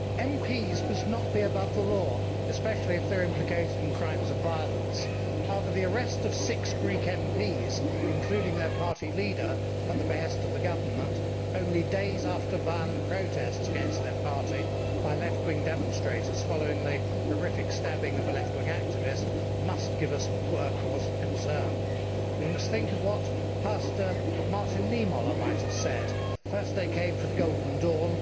Mr President, MPs must not be above the law, especially if they are implicated in crimes of violence. However, the arrest of six Greek MPs, including their party leader, at the behest of the government, only days after violent protests against their party by left wing demonstrators following the horrific stabbing of a left wing activist, must give us cause for concern We must think of what Pastor Martin Niemöller might have said First they came for Golden Dawn,